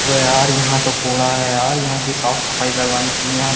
अबे यार यहाँ तो कोड़ा है यार यहाँ की साफ सफाई करवानी चाहिए यहाँ --